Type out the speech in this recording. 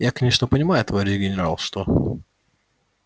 я конечно понимаю товарищ генерал что